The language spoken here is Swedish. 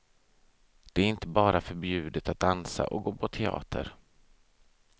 Det är inte bara förbjudet att dansa och gå på teater.